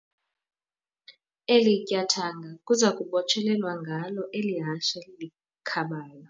Eli tyathanga kuza kubotshelelwa ngalo eli hashe likhabayo.